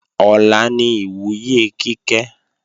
Ọ̀la ni ìwúyè Kíkẹ́